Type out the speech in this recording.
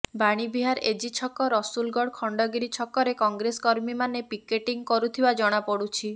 Vanivihar AG ଛକ ରସୁଲଗଡ଼ ଖଣ୍ଡଗିରି ଛକରେ କଂଗ୍ରେସ କର୍ମୀମାନେ ପିକେଟିଂ କରୁଥିବା ଜଣାପଡ଼ୁଛି